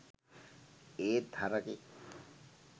ඒත් හරකෙක්